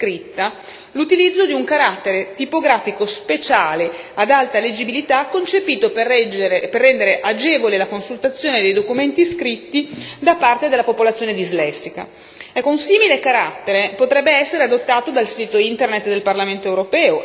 A questo proposito noi del Movimento Cinque Stelle abbiamo proposto con un'interrogazione scritta l'utilizzo di un carattere tipografico speciale ad alta leggibilità concepito per rendere agevole la consultazione dei documenti scritti da parte della popolazione dislessica.